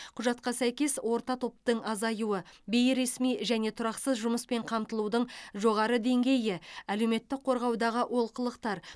құжатқа сәйкес орта топтың азаюы бейресми және тұрақсыз жұмыспен қамтылудың жоғары деңгейі әлеуметтік қорғаудағы олқылықтар